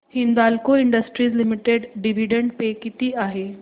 Hindalco industries limited dividend pay किती आहे